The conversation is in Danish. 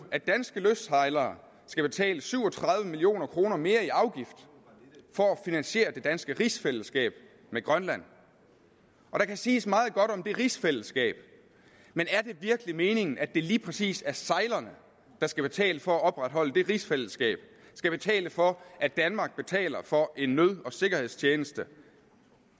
at danske lystsejlere skal betale syv og tredive million kroner mere i afgift for at finansiere det danske rigsfællesskab med grønland der kan siges meget godt om det rigsfællesskab men er det virkelig meningen at det lige præcis er sejlerne der skal betale for at opretholde det rigsfællesskab skal betale for at danmark betaler for en nød og sikkerhedstjeneste